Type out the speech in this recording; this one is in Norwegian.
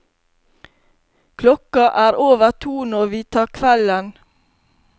Klokka er over to når vi tar kvelden.